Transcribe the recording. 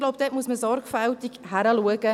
Ich glaube, dort muss man sogfältig hinschauen.